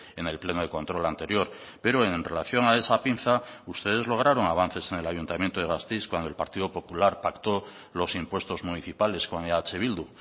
en el pleno de control anterior pero en relación a esa pinza ustedes lograron avances en el ayuntamiento de gasteiz cuando el partido popular pactó los impuestos municipales con eh bildu